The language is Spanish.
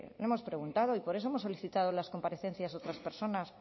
le hemos preguntado y por eso hemos solicitado las comparecencias de otras personas